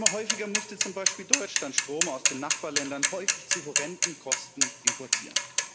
Immer häufiger musste zum Beispiel Deutschland Strom aus den Nachbarländern, häufig zu horrenden Kosten, importieren.